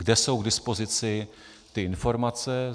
Kde jsou k dispozici ty informace?